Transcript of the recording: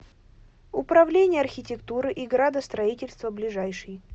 управление архитектуры и градостроительства ближайший